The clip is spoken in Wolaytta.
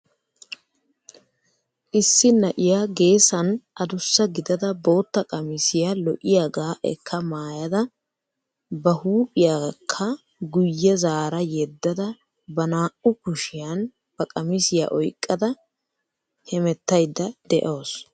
Issi na'iyaa geessan adussa gidada bootta qamisiyaa lo"iyaagaa ekka maayada ba huuphphiyaakka guyye zaara yeeddada ba naa"u kushshiyaan ba qamisiyaa oyqqada hemettayda de'awus.